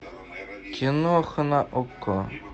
киноха на окко